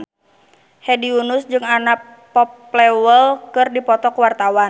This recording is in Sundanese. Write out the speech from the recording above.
Hedi Yunus jeung Anna Popplewell keur dipoto ku wartawan